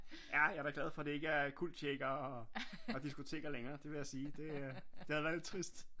Ja jeg er da glad for det ikke er cultshaker og diskoteker længere det vil jeg sige det øh det havde været lidt trist